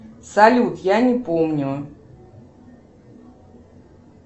салют я не помню